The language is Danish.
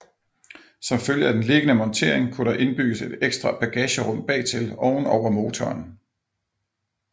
Som følge af den liggende montering kunne der indbygges et ekstra bagagerum bagtil oven over motoren